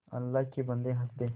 अल्लाह के बन्दे हंसदे